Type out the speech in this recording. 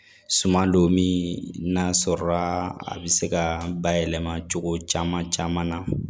Suman don min n'a sɔrɔ la a bɛ se ka bayɛlɛma cogo caman caman na